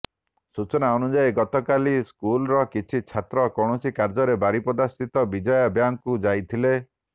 ସୂଚନା ଅନୁଯାୟୀ ଗତକାଲି ସ୍କୁଲ୍ର କିଛି ଛାତ୍ର କୌଣସି କାର୍ଯ୍ୟରେ ବାରିପଦା ସ୍ଥିତ ବିଜୟା ବ୍ୟାଙ୍କକୁ ଯାଇଥିଲେ